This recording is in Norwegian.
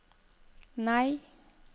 nei